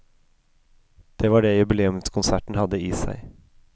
Det var det jubileumskonserten hadde i seg.